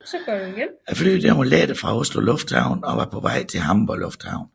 Flyet var var lettet fra Oslo Lufthavn og var på vej til Hamburg Lufthavn